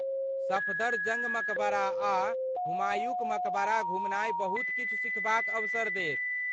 सफदरजंग मकबरा आ हुमायूँक मकबरा घुमनाइ बहुत किछु सिखबाक अवसर देत।